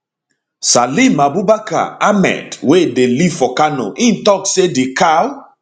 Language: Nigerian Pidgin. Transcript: salim abubakar ahmed wey dey live for kano im tok say di cow